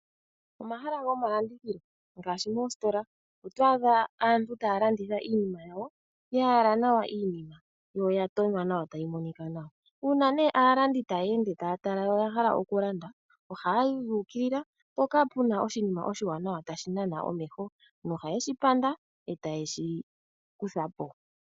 Omahala gomalandithilo ngaashi moositola oto adha aantu ta yalanditha iinima yawo, ya yala nawa yo oya tonywa nawa tayi monika nawa. Uuna nee aalandi taya ende taya tala yo oya hala okulanda ohaya yi yu ukilila mpoka pe na oshinima oshiwanawa tashi nana omeho noha ye shipanda e ta ye shi kutha po.